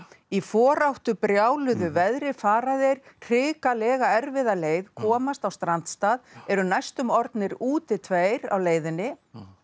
í foráttu brjáluðu veðri fara þeir hrikalega erfiða leið komast á strandstað eru næstum orðnir úti tveir á leiðinni